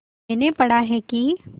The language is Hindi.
मैंने पढ़ा है कि